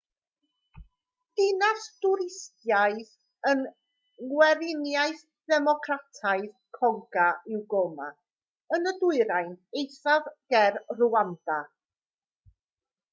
dinas dwristaidd yng ngweriniaeth ddemocrataidd congo yw goma yn y dwyrain eithaf ger rwanda